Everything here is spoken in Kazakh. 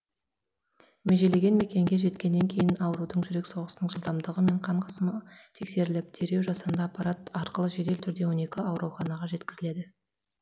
межеленген мекенге жеткеннен кейін аурудың жүрек соғысының жылдамдығы мен қан қысымы тексеріліп дереу жасанды аппарат арқылы жедел түрде он екі ауруханаға жеткізілді